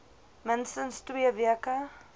minstens twee weke